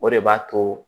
O de b'a to